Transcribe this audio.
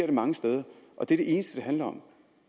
det mange steder og det er det eneste